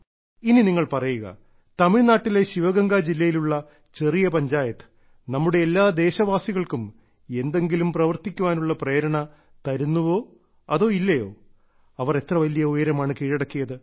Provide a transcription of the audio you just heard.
ഇനി നിങ്ങൾ പറയുക തമിഴ്നാട്ടിലെ ശിവഗംഗ ജില്ലയിലുള്ള ചെറിയ പഞ്ചായത്ത് നമ്മുടെ എല്ലാ ദേശവാസികൾക്കും എന്തെങ്കിലും പ്രവർത്തിക്കാനുള്ള പ്രേരണ തരുന്നുവോ അതോ ഇല്ലയോ അവർ എത്ര വലിയ ഉയരമാണ് കീഴടക്കിയത്